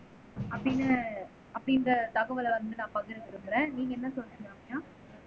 அப்படின்னு அப்படின்ற தகவலை வந்து நான் பகிர விரும்புரே நீங்க என்ன சொல்றீங்க ரம்யா